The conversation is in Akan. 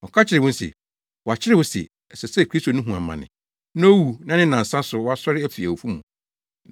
Ɔka kyerɛɛ wɔn se, “Wɔakyerɛw se, ɛsɛ sɛ Kristo no hu amane na owu na ne nnansa so, wasɔre afi awufo mu.